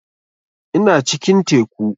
Ina cikin teku